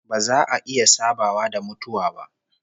Ba za a iya sabawa da mutuwa ba